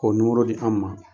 K'o nimoro di an ma.